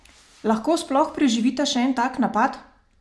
Lahko sploh preživita še en tak napad?